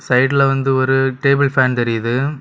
சைடுல வந்து ஒரு டேபிள் ஃபேன் தெரியுது.